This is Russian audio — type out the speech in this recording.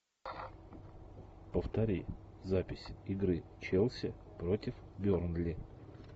повтори запись игры челси против бернли